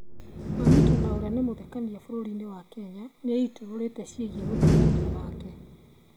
Mamito na ũrĩa nĩ mũthekania bũrũri-inĩ wa Kenya nĩeitũrũrĩte ciĩgiĩ ũthekania wake